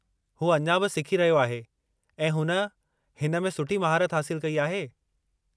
हू अञा बि सिखी रहियो आहे ऐं हुन हिन में सुठी महारत हासिलु कई आहे।